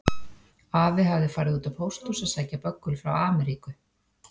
Afi hafði farið út á pósthús að sækja böggul frá Ameríku.